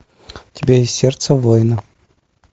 у тебя есть сердце воина